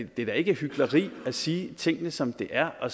det er da ikke hykleri at sige tingene som de er og